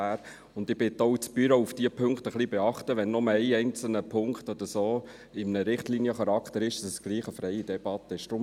Ich bitte auch das Büro, diese Punkte ein wenig zu beachten, damit es, auch wenn nur ein einzelner Punkt Richtliniencharakter hat, trotzdem eine freie Debatte gibt.